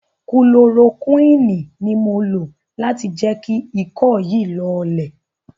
Kulorokúìnì ni mò ń lo láti jẹ́ kí ikọ́ yìí lọọlẹ̀.